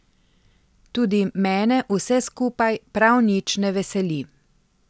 Tudi mene vse skupaj prav nič ne veseli.